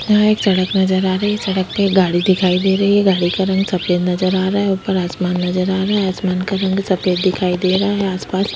यहाँ एक सड़क नज़र आ रही है सड़क पे गाड़ी दिखाई दे रही है गाड़ी का रंग सफ़ेद नज़र आ रहा है ऊपर आसमान नज़र आ रहा है आसमान का रंग सफ़ेद दिखाई दे रहा है आसपास--